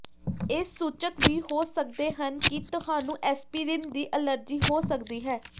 ਇਹ ਸੂਚਕ ਵੀ ਹੋ ਸਕਦੇ ਹਨ ਕਿ ਤੁਹਾਨੂੰ ਐਸਪੀਰੀਨ ਦੀ ਅਲਰਜੀ ਹੋ ਸਕਦੀ ਹੈ